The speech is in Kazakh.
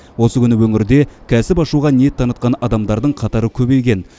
осы күні өңірде кәсіп ашуға ниет танытқан адамдардың қатары көбейген